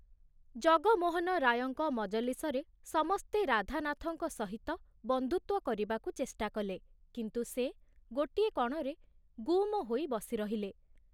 ଜଗମୋହନ ରାୟଙ୍କ ମଜଲିସରେ ସମସ୍ତେ ରାଧାନାଥଙ୍କ ସହିତ ବନ୍ଧୁତ୍ଵ କରିବାକୁ ଚେଷ୍ଟା କଲେ କିନ୍ତୁ ସେ ଗୋଟିଏ କଣରେ ଗୁମ ହୋଇ ବସିରହିଲେ।